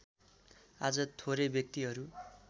आज थोरै व्यक्तिहरू